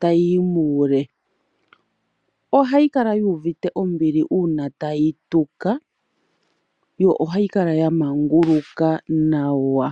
ta yiyi muule. Ohayi kala yuuvite ombili uuna tayi tuka yo ohayi kala ya manguluka nawa.